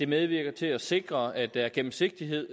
medvirket til at sikre at der er gennemsigtighed